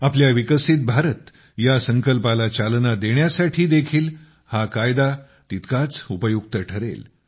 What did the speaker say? आपल्या विकसित भारत ह्या संकल्पाला चालना देण्यासाठी देखील हा कायदा तितकाच उपयुक्त ठरेल